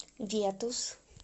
ветус